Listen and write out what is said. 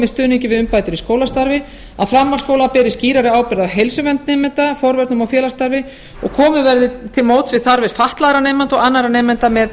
stuðningi við umbætur í skólastarfi að framhaldsskólar beri skýrari ábyrgð á heilsuvernd nemenda forvörnum og skólastarfi og komið verði til móts við þarfir fatlaðra nemenda og annarra nemenda með